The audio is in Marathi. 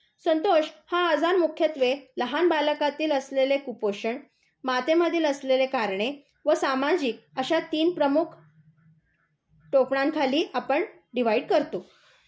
संतोष, हा आजार मुख्यत्वे लहान बालकातील असलेले कुपोषण, मातेमधील असलेले करणे व सामाजिक अशा तीन प्रमुख टोपणांखाली आपण डिव्हाईड करतो.